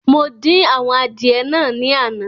Mo dín àwọn adìẹ naa ní àná